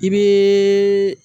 I bɛ